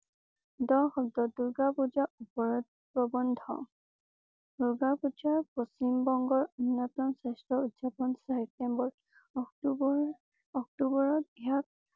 দহ সব্দ দুৰ্গা পূজা উপৰত প্ৰবন্ধ। দুৰ্গা পূজা পশ্চিম বংগৰ অন্যতম শ্ৰেষ্ঠ উদযাপন ছেপ্টেম্বৰ অক্টোবৰ অক্টোবৰত